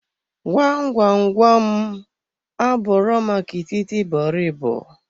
Gwam gwam gwam, abụro maka itibọrịbọ.